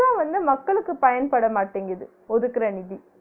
முழுசா வந்து மக்களுக்கு பயன்படமாட்டிங்கிது ஒதுக்கிற நிதி